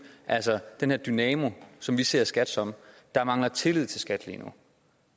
den her dynamo som vi ser skat som der mangler tillid til skat lige nu